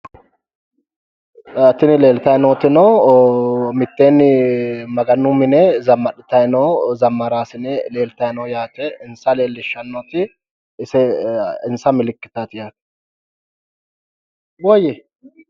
Tini leeltayi nootino mitteenni Maganu mine zammadhitayi noo zammaraasine leeltayi no yaate. insa leellishshannoti yaate insa milkiteeti yaate.